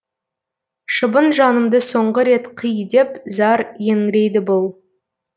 шыбын жанымды соңғы рет қи деп зар еңірейді бұл